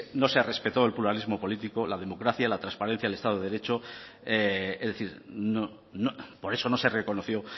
no se respetó el pluralismo político la democracia la trasparencia el estado de derecho es decir por eso no se reconoció